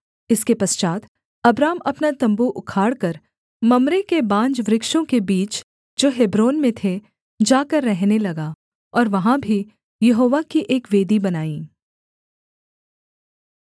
इसके पश्चात् अब्राम अपना तम्बू उखाड़कर मम्रे के बांजवृक्षों के बीच जो हेब्रोन में थे जाकर रहने लगा और वहाँ भी यहोवा की एक वेदी बनाई